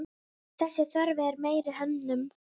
Þessi þörf eftir meiri hönnun.